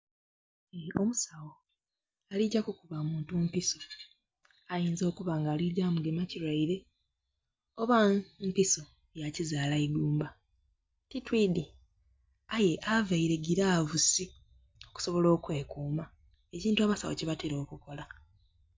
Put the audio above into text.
Omusawo ali gya kukuba muntu mpiso ayinza okuba nga ali gya mugema kirwaire oba mpiso ya kizaala igumba, titwidhi. Aye avaire gilavusi okusobola okwekuuma, ekintu abasawo kyebatera okukola.